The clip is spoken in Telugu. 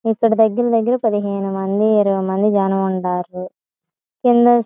ఇక్కడ దగ్గర దగ్గర పదిహేను మంది ఇరవై మంది జనముంటారు --